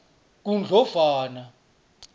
kundlovana